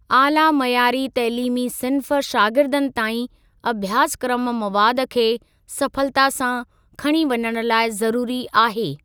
आला मयारी तइलीमी सिन्फ़ शागिर्दनि ताईं अभ्यासक्रम मवाद खे सफलता सां खणी वञण लाइ ज़रूरी आहे।